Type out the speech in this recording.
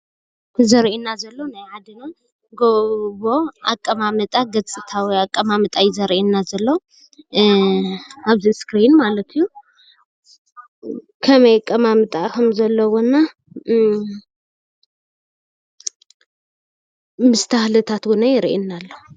እዚ ገፅታ መሬት ኮይኑ ጎቦ ይበሃል።